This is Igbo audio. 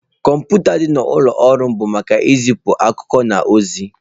Kọmputa dị n'ụlọ ọrụ m bụ maka izipu akụkọ na ozi-e.